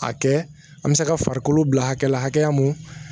A kɛ an bɛ se ka farikolo bila hakɛ la hakɛya mun